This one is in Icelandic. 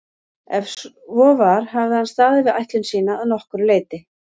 Ef svo var hafði hann staðið við ætlun sína að nokkru leyti.